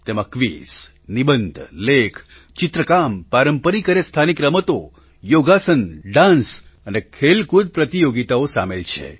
તેમાં ક્વિઝ નિબંધ લેખ ચિત્રકામ પારંપરિક અને સ્થાનિક રમતો યોગાસન ડાન્સ અને ખેલકૂદ પ્રતિયોગિતાઓ સામેલ છે